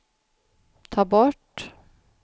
ta bort